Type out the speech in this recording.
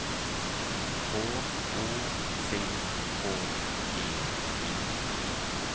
H O C K E Y